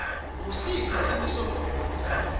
ngusiphi simisomgomo lesentiwe